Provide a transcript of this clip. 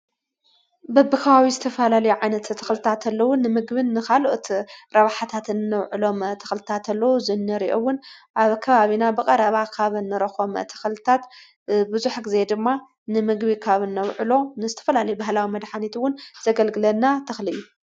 በብኻዋዊ ዝተፈላል ዓይነት ተኽልታተለዉን ንምግብን ኻልኦት ረባሕታትን እነውዕሎም ተኽልታተሎዉ ዝነርኦውን ኣብ ከባብና ብቐረባ ካበንረኾም ተኽልታት ብዙሕጊዜ ድማ ንምግቢ ካብ ኖውዕሎ ንስትፈላል ብህላዊ መድኃኒትውን ዘገልግለና ተኽልይ